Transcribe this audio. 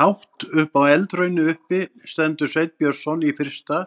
Hátt á eldhrauni uppi stendur Sveinn Björnsson í fyrsta